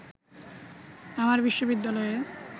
আমার বিশ্ববিদ্যালয়ে